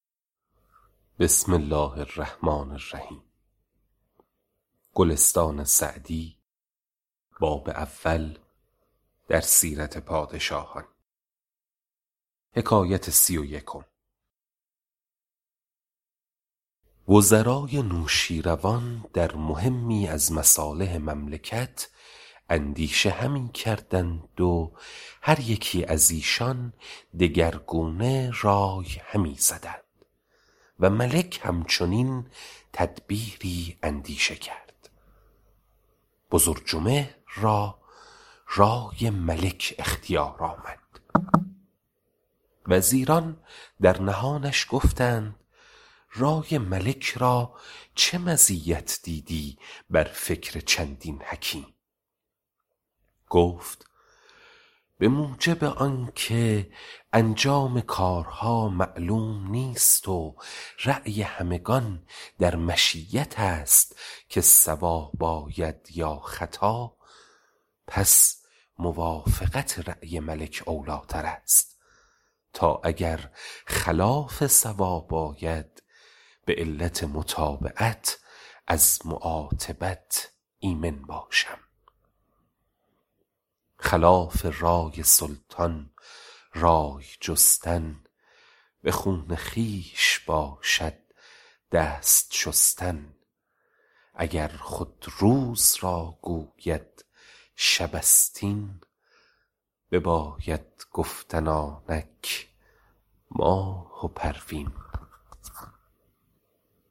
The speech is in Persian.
وزرای نوشیروان در مهمی از مصالح مملکت اندیشه همی کردند و هر یکی از ایشان دگرگونه رای همی زدند و ملک هم چنین تدبیری اندیشه کرد بزرجمهر را رای ملک اختیار آمد وزیران در نهانش گفتند رای ملک را چه مزیت دیدی بر فکر چندین حکیم گفت به موجب آن که انجام کارها معلوم نیست و رای همگان در مشیت است که صواب آید یا خطا پس موافقت رای ملک اولی ٰتر است تا اگر خلاف صواب آید به علت متابعت از معاتبت ایمن باشم خلاف رای سلطان رای جستن به خون خویش باشد دست شستن اگر خود روز را گوید شب است این بباید گفتن آنک ماه و پروین